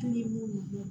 Hali n'i ye mun kɛ